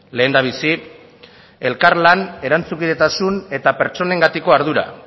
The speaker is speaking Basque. lehendabizi elkarlan erantzunkidetasun eta pertsonengatiko ardura